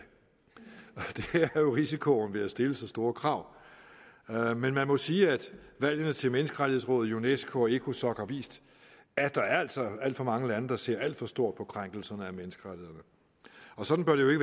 det jo risikoen ved at stille så store krav men man må sige at valgene til menneskerettighedsrådet unesco og ecosoc har vist at der altså er alt for mange lande der ser alt for stort på krænkelserne af menneskerettighederne og sådan bør det